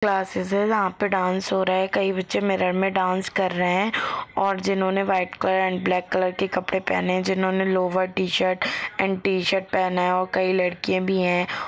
Classes है जहा पे डांस हो रहा है कई बच्चे मिरर मे डांस कर रहे है और जिन्होंने white colour and black colour के कपड़े पहने है जिन्होंने लोअर टीशर्ट एण्ड टीशर्ट पहने है और कई लड़किया भी है ।